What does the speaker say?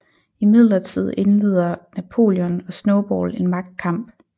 Imidlertid indleder Napoleon og Snowball en magtkamp